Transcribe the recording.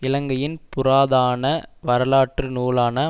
இலங்கையின் புராதான வரலாற்று நூலான